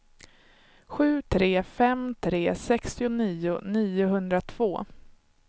sju tre fem tre sextionio niohundratvå